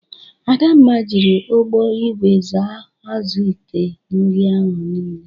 Adamma jiri ọgbọ igwe saa azụ ite nri ahụ niile.